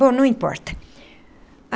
Bom, não importa.